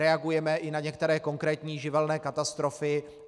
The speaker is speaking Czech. Reagujeme i na některé konkrétní živelní katastrofy.